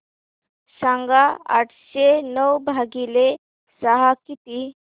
सांगा आठशे नऊ भागीले सहा किती